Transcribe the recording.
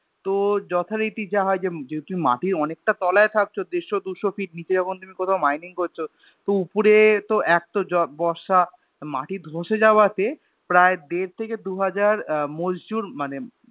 তো যথারীতি যা হয় যে যেহুতু মাটির অনেকটা তলায় থাকতো দেড়শো দুশো Feet নিচে যখন তুমি কোথাও Mining করছো তো উপরে তো এক তো বর্ষা তো মাটি ধ্বসে যাওয়াতে প্রায় দের থেকে দুহাজার আহ मजदूर মানে